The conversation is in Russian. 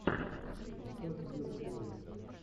поставь лил уэйн